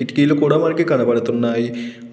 కిటికీలు కూడా మనకి కనపడుతున్నాయి